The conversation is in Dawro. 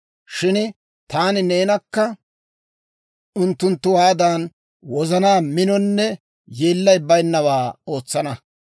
Shin taani neenakka unttunttuwaadan wozana minonne yeellay baynnawaa ootsana.